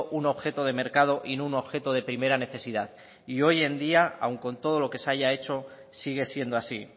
un objeto de mercado y no un objeto de primera necesidad y hoy en día aun con todo lo que se ha ya hecho sigue siendo así